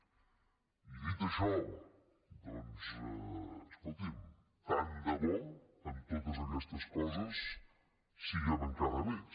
i dit això doncs escolti tant de bo en totes aquestes coses siguem encara més